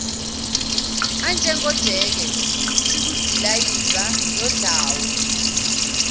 anjengojeke isikudilayiva nodlawu